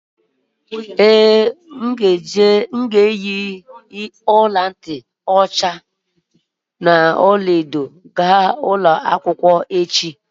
Ee, m ga-eyi ọla ntị ọla edo m wee ga ụlọ akwụkwọ echi